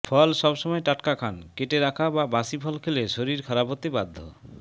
ফল সব সময় টাটকা খান কেটে রাখা বা বাসি ফল খেলে শরীর খারাপ হতে বাধ্য